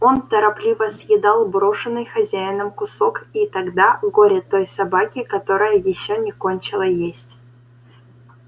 он торопливо съедал брошенный хозяином кусок и тогда горе той собаке которая ещё не кончила есть